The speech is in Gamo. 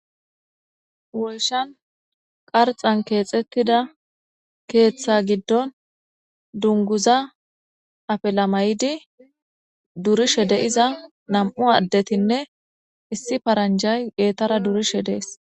Woyshan qarxan keexettida keeththa giddon dunguza afelamaydi durishe deyiza nam7u addetinne issi paranjay geetara durishe dees.